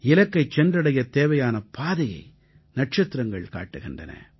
இலக்கைச் சென்றடையத் தேவையான பாதையை நட்சத்திரங்கள் காட்டுகின்றன